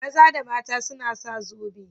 Maza da mata suna sa zobe.